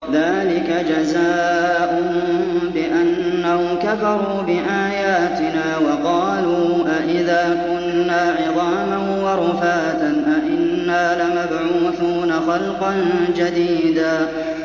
ذَٰلِكَ جَزَاؤُهُم بِأَنَّهُمْ كَفَرُوا بِآيَاتِنَا وَقَالُوا أَإِذَا كُنَّا عِظَامًا وَرُفَاتًا أَإِنَّا لَمَبْعُوثُونَ خَلْقًا جَدِيدًا